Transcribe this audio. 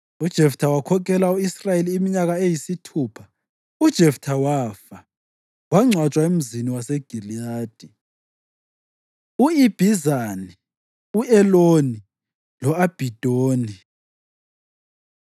UJeftha wakhokhela u-Israyeli iminyaka eyisithupha. UJeftha wafa, wangcwatshwa emzini waseGiliyadi. U-Ibhizani, U-Eloni Lo-Abhidoni